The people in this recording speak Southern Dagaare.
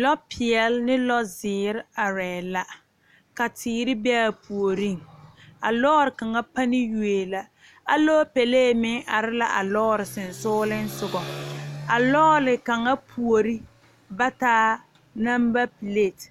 Lɔɔ pɛɛle ane lɔɔ zeɛre are la, ka teere be a puoriŋ, a lɔɔre kaŋa panne yoe la alɔɔpele meŋ are la a lɔɔre sensɔleŋ, a lɔɔre kaŋa puori ba taa number plate,